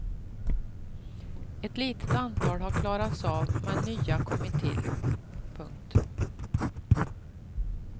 Ett litet antal har klarats av men nya kommit till. punkt